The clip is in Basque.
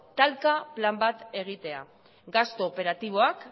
kalka plan bat egitea gastu operatiboak